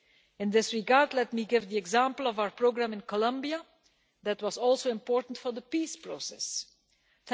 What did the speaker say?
In this regard, let me give the example of our programme in Colombia that was also important to the peace process there.